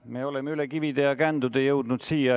Me oleme üle kivide ja kändude jõudnud siia.